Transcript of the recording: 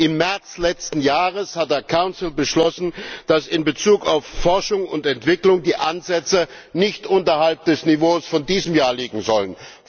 Im März letzten Jahres hat der Rat beschlossen, dass in Bezug auf Forschung und Entwicklung die Ansätze nicht unterhalb des Niveaus von diesem Jahr liegen sollen.